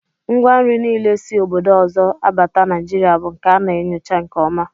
Ngwa nri niile si obodo ọzọ abata Naijiria bụ nke a na-enyocha nke ọma